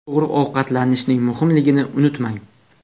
To‘g‘ri ovqatlanishning muhimligini unutmang.